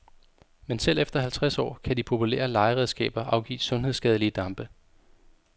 Men selv efter halvtreds år kan de populære legeredskaber afgive sundhedsskadelige dampe.